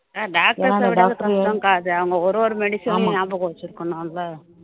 doctor அ விட அது கஷ்டம்க்கா அது அவங்க ஒரு ஒரு medicine ஐயும் ஞாபகம் வச்சிருக்கணும் இல்ல